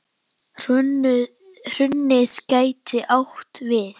Hrunið gæti átt við